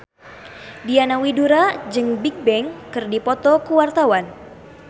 Diana Widoera jeung Bigbang keur dipoto ku wartawan